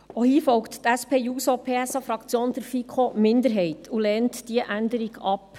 Auch hier folgt die SP-JUSO-PSA-Fraktion der FiKo-Minderheit und lehnt die Änderung ab.